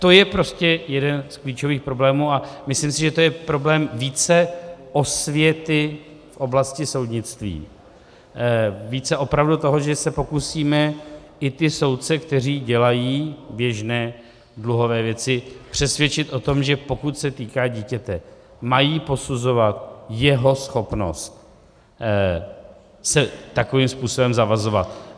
To je prostě jeden z klíčových problémů a myslím si, že to je problém více osvěty v oblasti soudnictví, více opravdu toho, že se pokusíme i ty soudce, kteří dělají běžné dluhové věci, přesvědčit o tom, že pokud se týká dítěte, mají posuzovat jeho schopnost se takovým způsobem zavazovat.